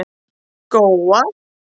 Góa